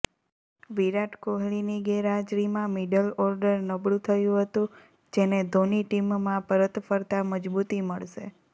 વિરાટ કોહલીની ગેરહાજરીમાં middle order નબળું થયું હતું જેને ધોની ટીમમાં પરત ફરતાં મજબૂતી મળશે